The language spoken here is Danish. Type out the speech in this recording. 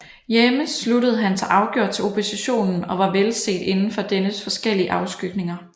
Hjemme sluttede han sig afgjort til oppositionen og var velset inden for dennes forskellige afskygninger